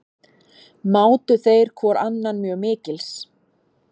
Mátu þeir hvor annan mjög mikils.